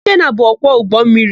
Ikenna bụ ọkwọ ụgbọmmiri.